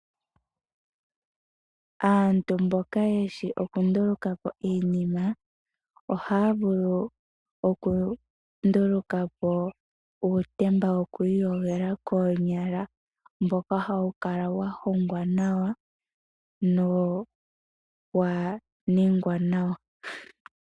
Aantu mboka yeshi okundulukapo iinima ohaya vulu okundulukapo uutemba wo kwiiyogela konyala mboka hawu kala wahongwa nawa no waningwa nawa.